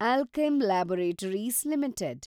Alkem Laboratories limited